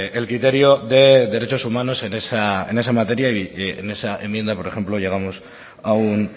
el criterio de derechos humanos en esa materia y en esa enmienda por ejemplo llegamos a un